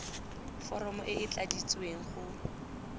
foromo e e tladitsweng go